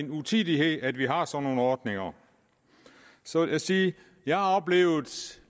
utidigt at vi har sådan nogle ordninger så vil jeg sige at jeg har oplevet